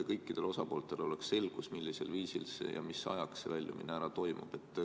Kõikidel osapooltel oleks siis selgus, millisel viisil ja mis ajaks nn väljumine toimub.